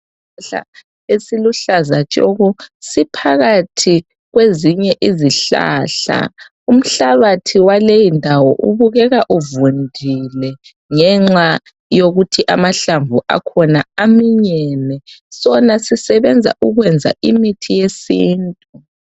Isihlahla esiluhlaza tshoko siphakathi kwezinye izihlahla umhlanbathi wakuleyindawo ubukeka uvundile ngenxa yokuthi amahlamvu akhona aminyene sona sisebenza ukwenza imithi yesintu